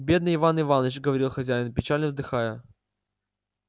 бедный иван иваныч говорил хозяин печально вздыхая